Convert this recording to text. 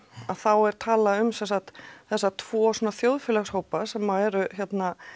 þá er talað um sem sagt þessa tvo þjóðfélagshópa sem eru hérna